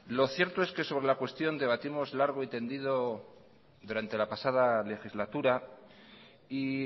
lo cierto es que sobre la cuestión debatimos largo y tendido durante la pasada legislatura y